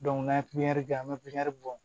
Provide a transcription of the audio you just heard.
n'an ye pipiɲɛri kɛ an bɛ pikiri bɔ